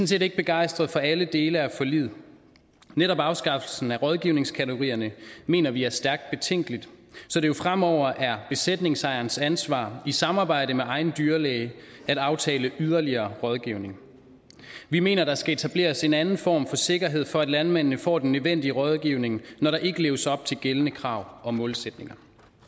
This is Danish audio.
set ikke begejstret for alle dele af forliget netop afskaffelsen af rådgivningskategorierne mener vi er stærkt betænkeligt så det jo fremover er besætningsejerens ansvar i samarbejde med egen dyrlæge at aftale yderligere rådgivning vi mener der skal etableres en anden form for sikkerhed for at landmændene får den nødvendige rådgivning når der ikke leves op til gældende krav og målsætninger